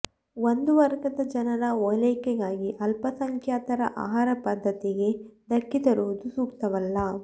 ಒಂದು ವರ್ಗದ ಜನರ ಒಲೈಕೆಗಾಗಿ ಅಲ್ಪಸಂಖ್ಯಾತರ ಆಹಾರ ಪದ್ಧತಿಗೆ ಧಕ್ಕೆ ತರುವುದು ಸೂಕ್ತವಲ್ಲ